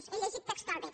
ho he llegit textualment